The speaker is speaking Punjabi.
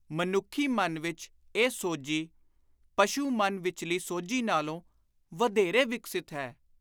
ਮਨੁੱਖੀ ਮਨ ਵਿਚ ਇਹ ਸੋਝੀ, ਪਸ਼ੁ-ਮਨ ਵਿਚਲੀ ਸੋਝੀ ਨਾਲੋਂ ਵਧੇਰੇ ਵਿਕਸਿਤ ਹੈ।